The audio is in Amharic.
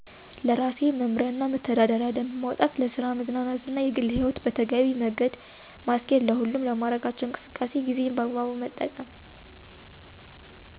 ለራሴ መምሪያና መተዳደሪያ ደንብ ማውጣት ለስራ ለመዝናናት የግልህይወት በተገቢ መገደ ማስኬድ ለሁሉም ለማረጋቸው እንቅስቃሴ ጊዜን በአግባቡ መጠቀም